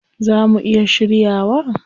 Zaa mu iya shiryawa?